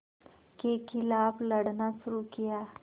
के ख़िलाफ़ लड़ना शुरू किया